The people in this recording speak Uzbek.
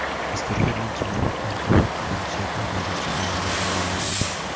Asteroidning kimyoviy tarkibi va shakli hozircha olimlarga ma’lum emas.